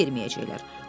Sənə fikir verməyəcəklər.